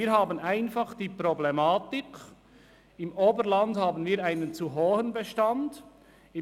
Wir haben einfach die Problematik, dass wir im Oberland einen zu hohen Bestand haben.